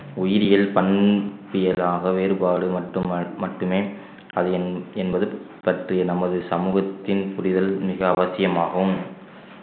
உயிரியல் பண்~ வேறுபாடு மட்டு~ மட்டுமே அது என்~ என்பது சற்று நமது சமூகத்தின் புரிதல் மிக அவசியமாகும்